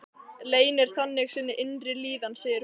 Leynir þannig sinni innri líðan, segir hún.